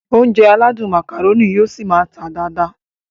Ounjẹ aládùn Macaroni yóò ṣi máá tà dáadáa